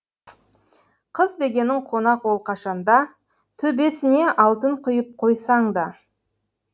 қыз дегенің қонақ ол қашанда төбесіне алтын құйып қойсаңда